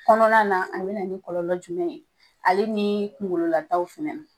Kɔnɔna na a bɛ na ni kɔlɔlɔ jumɛn ye ale ni kungolo lataw fɛnɛ